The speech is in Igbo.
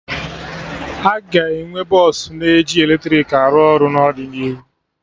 Aga enwe bọsụ na eji eletrik arụ ọrụ n'ọdịnihu